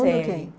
Todo mundo quem?